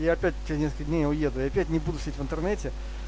я опять через несколько дней уеду и опять не буду сидеть в интернете